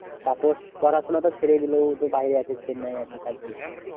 তাপস পড়াশোনা তো ছেড়েই দিলো ও তো বাইরে আছে চেন্নাই আছে কাজ করছে।